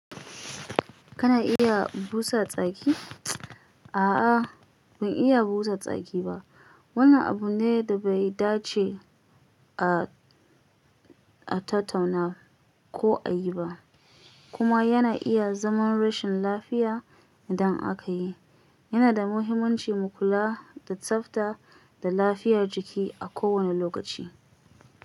Kana iya busa tsaki? A'a, ban iya busa tsaki ba. Wannan abu ne da bai dace a, a tattauna ko a yi ba, kuma yana iya zaman rashin lafiya idan aka yi. Yana da muhimmanci mu kula da tsafta da lafiyar jiki a kowane lokaci.